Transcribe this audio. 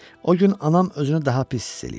O gün anam özünü daha pis hiss eləyirdi.